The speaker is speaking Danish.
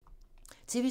TV 2